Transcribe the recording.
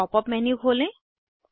pop up menu खोलें